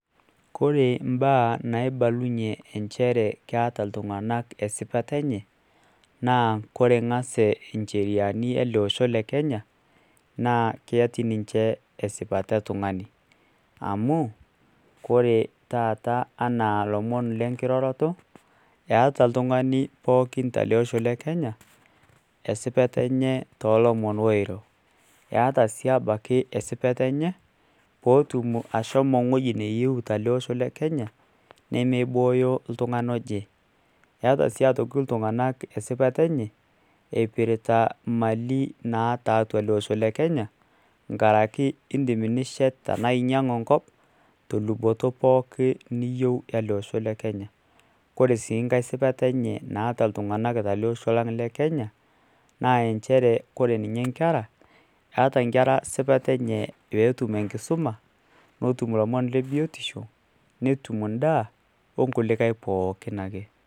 Koree mbaa naibalunye ajo keeta ltunganak esipata enye na koree ngas e ncheriani eleosho le kenya naa ketii ninche esipata etungani, amu ore taata anaa enkiroroto eata oltungani pookin tolosho le Kenya esipata oiro, eata si obaiki esipata enye pootum ashomo wueji nayieu tolosho le Kenya nemeibooyo oltungani oje, eeta si aitoki esipata enye eipitta mali naatatolosho le kenya nkaraki indim nishet tanaainyangu enkop toluboki pookin niyieu tolosho lekenya, ore si enkae tolosho lang le kenya na nchere koree nye nkera eeta nkera esipata enye petum enkisuma, netum lomon le biotisho netum endaa nkulikae pookin ake.